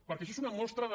perquè això és una mostra de